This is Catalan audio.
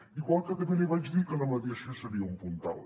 igual que també li vaig dir que la mediació seria un puntal